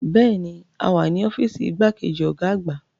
Bẹ́ẹ̀ni, a wà ní ọ́fíìsì igbákejì ọ̀gá àgbà.